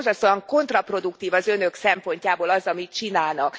Ezért borzasztóan kontraproduktív az Önök szempontjából az, amit csinálnak.